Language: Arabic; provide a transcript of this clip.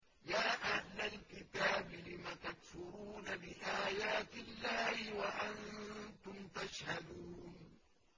يَا أَهْلَ الْكِتَابِ لِمَ تَكْفُرُونَ بِآيَاتِ اللَّهِ وَأَنتُمْ تَشْهَدُونَ